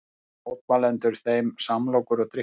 Gáfu mótmælendur þeim samlokur og drykki